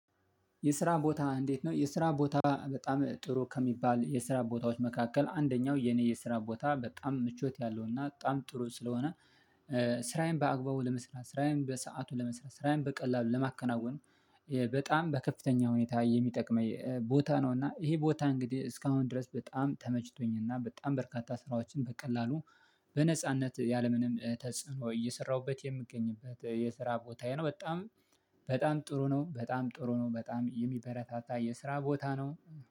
የስራ ቦታ እንዴት ነው የስራ ቦታ በጣም ጥሩ ከሚባል የስራ ቦታዎች መካከል አንደኛው የኔ የስራ ቦታ ምቾት ያለውና በጣም ጥሩ ስለሆነ ስራዬን በአግባቡ ለመስራት ስራዬን በሰአቱ ለመስራት ስራዬን በቀላሉ ለማከናወን በጣም በከፍተኛ ሁኔታ የሚጠቅመኝ ቦታ ነው። እና ይሄ ቦታ እንግዲህ እስካሁን ድረስ በጣም ተመችቶኝ እና በጣም በርካታ ስራዎችን በቀላሉ በነጻነት ያለምንም ተጽዕኖ እየሰራሁበት የምገኝበት የስራ ቦታዬ ነው። በጣም በጣም ጥሩ ነው። በጣም ጥሩ ነው። በጣም የሚበረታታ የስራ ቦታ ነው